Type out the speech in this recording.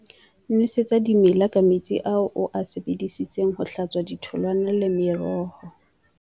Nwesetsa dimela ka metsi ao o a sebedisitseng ho hlatswa ditholwana le meroho.